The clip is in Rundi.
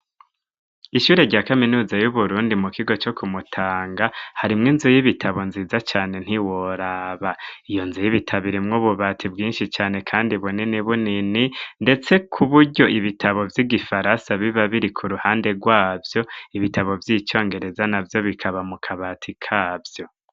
Ishure rya kaminuza y'uburundi mu kigo co kumutanga harimwo inzu y'ibitabo nziza cane ntiworaba iyo nzu y'ibitaboirimwo bubati bwinshi cane, kandi bunini bu nini, ndetse ku buryo ibitabo vy'igifarasa biba biri ku ruhande rwavyo ibitabo vy'icongereza na vyo bikaba mu kabati kavyo.